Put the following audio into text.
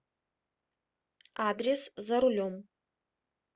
адрес за рулем